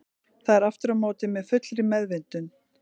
Það er aftur á móti með fullri meðvitund.